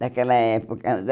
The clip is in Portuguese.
Daquela época.